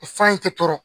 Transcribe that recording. Fan in tɛ tɔɔrɔ